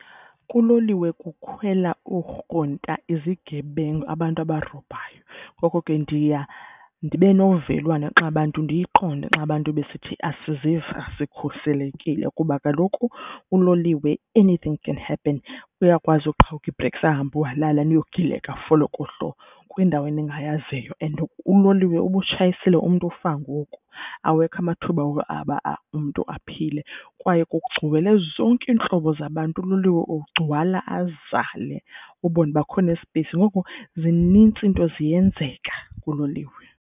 Kuloliwe kukhwela oorhonta, izigebengu, abantu abarobhayo, ngoko ke ndiya ndibe novelwano xa abantu ndiyiqonde xa abantu besithi asiziva sikhuselekile kuba kaloku kuloliwe anything can happen. Uyakwazi uqhawuka ii-brakes ahambe uhalala niyogileka folokohlo kwindawo eningayaziyo and uloliwe uba utshayisile, umntu ukufa ngoku, awekho amathuba woba aba umntu aphile. Kwaye kugcwele zonke iintlobo zabantu, uloliwe ugcwala azale ubone uba akho nesipeyisi. Ngoku zinintsi iinto, ziyenzeka kuloliwe.